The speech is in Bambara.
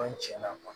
An tiɲɛ na